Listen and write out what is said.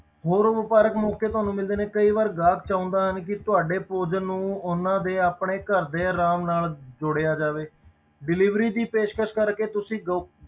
ਹੋਰ ਵਾਪਾਰਕ ਮੌਕੇ ਤੁਹਾਨੂੰ ਮਿਲਦੇ ਨੇ ਕਈ ਵਾਰ ਗਾਹਕ ਚਾਹੁੰਦਾ ਨਾ ਕਿ ਤੁਹਾਡੇ ਭੋਜਨ ਨੂੰ ਉਹਨਾਂ ਦੇ ਆਪਣੇ ਘਰ ਦੇ ਆਰਾਮ ਨਾਲ ਜੋੜਿਆ ਜਾਵੇ delivery ਦੀ ਪੇਸ਼ਕਸ ਕਰਕੇ ਤੁਸੀਂ ਗ~